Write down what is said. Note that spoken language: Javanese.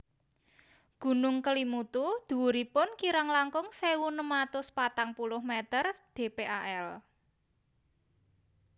Gunung Kelimutu dhuwuripun kirang langkung sewu enem atus patang puluh meter dpal